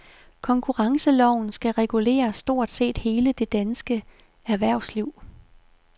Konkurrenceloven skal regulere stort set hele det danske erhvervsliv.